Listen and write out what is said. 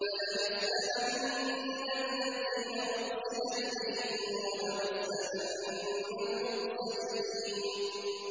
فَلَنَسْأَلَنَّ الَّذِينَ أُرْسِلَ إِلَيْهِمْ وَلَنَسْأَلَنَّ الْمُرْسَلِينَ